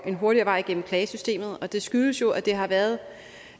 en hurtigere vej igennem klagesystemet det skyldes jo at det har været